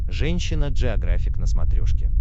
женщина джеографик на смотрешке